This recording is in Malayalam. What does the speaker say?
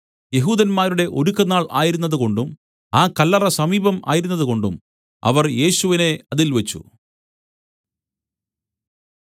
യെഹൂദന്മാരുടെ ഒരുക്കനാൾ ആയിരുന്നതുകൊണ്ടും ആ കല്ലറ സമീപം ആയിരുന്നതുകൊണ്ടും അവർ യേശുവിനെ അതിൽ വെച്ച്